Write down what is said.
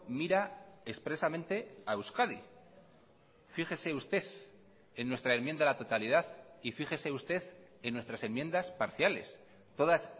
mira expresamente a euskadi fíjese usted en nuestra enmienda a la totalidad y fíjese usted en nuestras enmiendas parciales todas